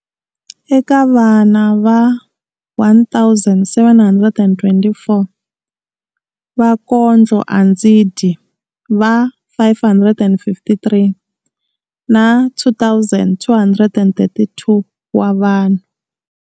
Eka vana va 1 724, vakondlo a ndzi dyi va 553 na 2 232 wa vanhu.